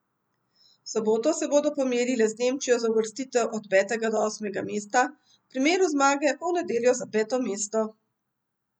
V soboto se bodo pomerile z Nemčijo za uvrstitev od petega do osmega mesta, v primeru zmage pa v nedeljo za peto mesto.